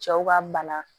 Cɛw ka bana